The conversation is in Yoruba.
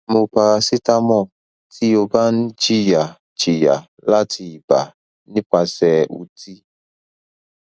mu paracetamol ti o ba n jiya jiya lati iba nipase uti